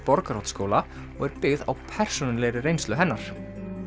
Borgarholtsskóla og er byggð á persónulegri reynslu hennar